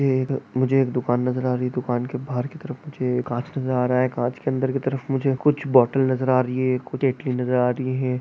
ए मुझे एक दुकान नजर आ रही। दुकान के बाहर की तरफ मुझे एक कांच नज़र आ रहा है कांच के अंदर की तरफ मुझे कुछ बोतल नजर आ रही है। नजर आ रही है।